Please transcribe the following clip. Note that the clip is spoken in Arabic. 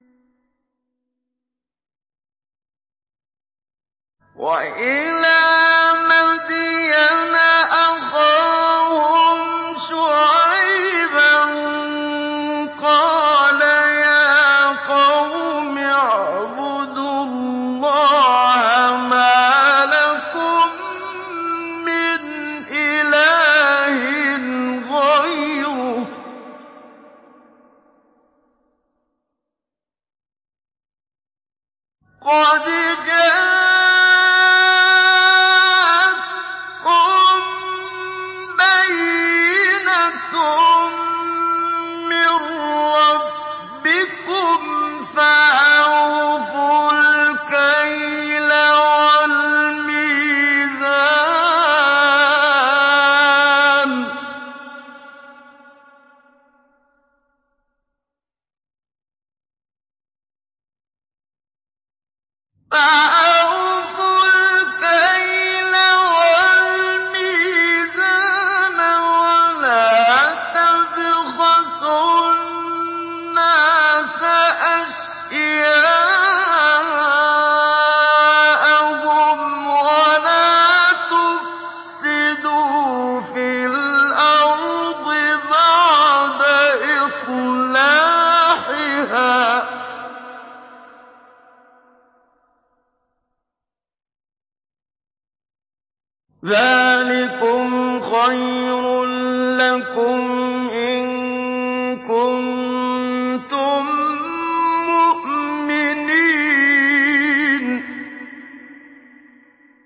وَإِلَىٰ مَدْيَنَ أَخَاهُمْ شُعَيْبًا ۗ قَالَ يَا قَوْمِ اعْبُدُوا اللَّهَ مَا لَكُم مِّنْ إِلَٰهٍ غَيْرُهُ ۖ قَدْ جَاءَتْكُم بَيِّنَةٌ مِّن رَّبِّكُمْ ۖ فَأَوْفُوا الْكَيْلَ وَالْمِيزَانَ وَلَا تَبْخَسُوا النَّاسَ أَشْيَاءَهُمْ وَلَا تُفْسِدُوا فِي الْأَرْضِ بَعْدَ إِصْلَاحِهَا ۚ ذَٰلِكُمْ خَيْرٌ لَّكُمْ إِن كُنتُم مُّؤْمِنِينَ